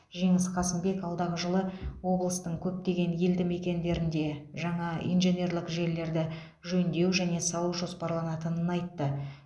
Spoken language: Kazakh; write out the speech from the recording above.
жеңіс қасымбек алдағы жылы облыстың көптеген елді мекендерінде жаңа инженерлік желілерді жөндеу және салу жоспарланатынын айтты